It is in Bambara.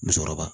Musokɔrɔba